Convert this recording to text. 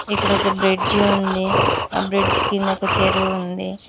ఇక్కడ ఒక బ్రిడ్జి ఉంది ఆ బ్రిడ్జి కింద చెరువు ఉంది.